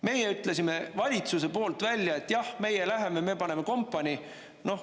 Meie ütlesime valitsuse poolt välja, et jah, meie läheme, me paneme kompanii.